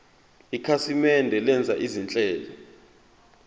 ikhasimende lenza izinhlelo